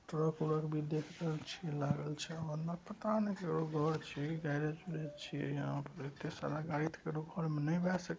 truck उरक भी देख रहल छिये लागल छै ओने पता ने केकरो घर छीये गैरेज उरेज छीये यहाँ पर